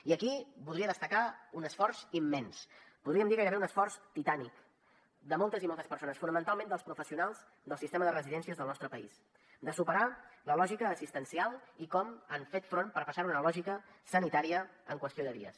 i aquí voldria destacar un esforç immens podríem dir gairebé un esforç titànic de moltes i moltes persones fonamentalment dels professionals del sistema de residències del nostre país de superar la lògica assistencial i com hi han fet front per passar a una lògica sanitària en qüestió de dies